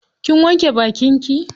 Kin wanke bakin ki?